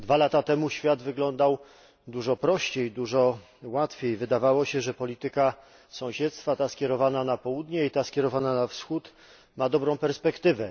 Dwa lata temu świat wyglądał dużo prościej, dużo łatwiej. Wydawało się, że polityka sąsiedztwa, ta skierowana na południe i ta skierowana na wschód, ma dobrą perspektywę.